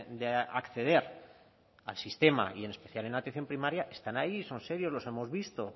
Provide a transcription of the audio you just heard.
de acceder al sistema y en especial en atención primaria están ahí son serios los hemos visto